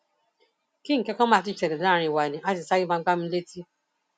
kí nǹkan kan má tí ì ṣẹlẹ láàrín wa ni àá ti sáré máa gbá mi létí